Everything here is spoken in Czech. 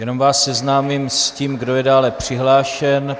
Jenom vás seznámím s tím, kdo je dále přihlášen.